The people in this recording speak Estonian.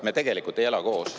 Me tegelikult ei ela koos.